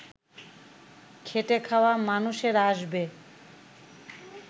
খেটে-খাওয়া মানুষেরা আসবে